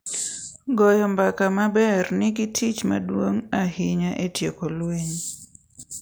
Goyo mbaka maber nigi tich maduong’ ahinya e tieko lweny,